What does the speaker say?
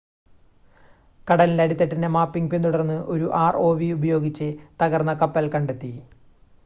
കടലിൻ്റെ അടിത്തട്ടിൻ്റെ മാപ്പിംഗ് പിന്തുടർന്ന് ഒരു ആർഓവി ഉപയോഗിച്ച് തകർന്ന കപ്പൽ കണ്ടെത്തി